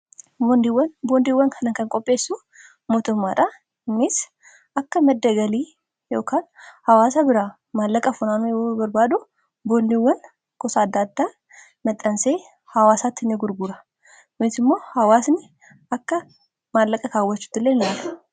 boondiiwwan kana kan qopheessu mootummaadha. Innis akka madda galii ykn hawaasa biraa maallaqa funaanii barbaadu, boondiiwwan gosa adda addaa maxxansee hawaasaatti ni gurgura. Kun immoo hawaasni akka maallaqa kaawwachuuttiillee ilaalama.